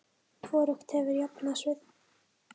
Hvorugt hefur jafnað sig.